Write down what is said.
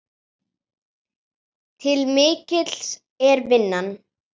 Til mikils er að vinna.